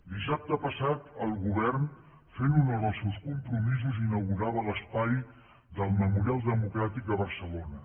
dissabte passat el govern fent honor als seus compromisos inaugurava l’espai del memorial democràtic a barcelona